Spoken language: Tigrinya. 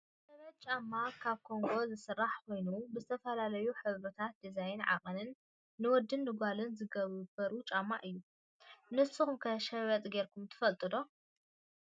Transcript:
ሸበጥ ጫማ ካብ ጎማ ዝስራሕ ኮይኑ ብዝተፈላለዩ ሕብርታትን ዲዛይናትን ዓቀንን ንወድን ጓልን ዝገብርዎ ጫማ እዩ። ንስኩም ከ ሸበጥ ገርኩም ትፈልጡ ዶ?